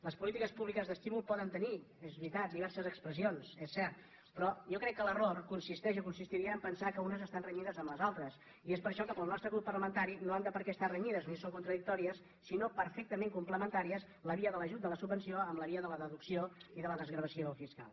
les polítiques públiques d’estímul poden tenir és veri·tat diverses expressions és cert però jo crec que l’error consisteix o consistiria a pensar que unes estan renyides amb les altres i és per això que per al nostre grup parla·mentari no han d’estar renyides ni són contradictòries sinó perfectament complementàries la via de l’ajut de la subvenció amb la via de la deducció i de la desgra·vació fiscal